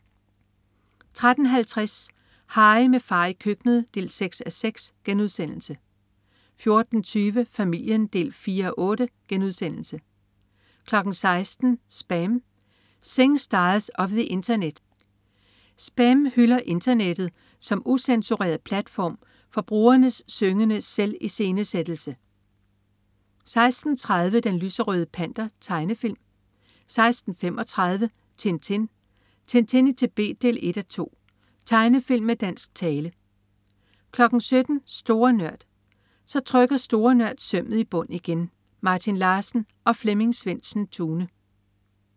13.50 Harry med far i køkkenet 6:6* 14.20 Familien 4:8* 16.00 SPAM. Singstars of the Internet. "SPAM" hylder internettet som ucensureret platform for brugernes syngende selviscenesættelse 16.30 Den lyserøde Panter. Tegnefilm 16.35 Tintin. Tintin i Tibet 1:2. Tegnefilm med dansk tale 17.00 Store Nørd. Så trykker Store Nørd sømmet i bund igen. Martin Larsen og Flemming Svendsen-Tune